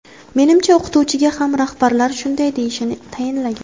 Menimcha, o‘qituvchiga ham rahbarlari shunday deyishini tayinlagan.